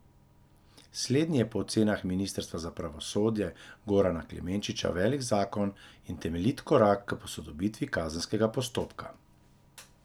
Slednji je po ocenah ministra za pravosodje Gorana Klemenčiča velik zakon in temeljit korak k posodobitvi kazenskega postopka.